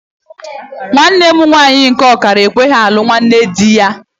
Nwanne mụ nwaanyị nke ọkara ekweghị alụ nwanne dị ya.